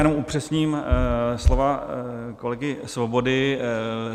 Jenom upřesním slova kolegy Svobody.